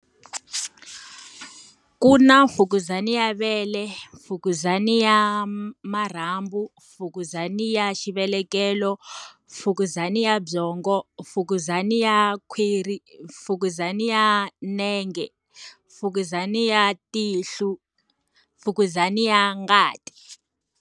Ku na fukuzana ya vele, mfukuzana ya marhambum, fukuzana ya xivelekelo, mfukuzana ya byongo, mfukuzana ya khwiri, mfukuzana ya nenge, mfukuzana ya tihlo, mfukuzana ya ngati.